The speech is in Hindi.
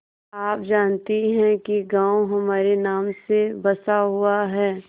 आप जानती हैं कि गॉँव हमारे नाम से बसा हुआ है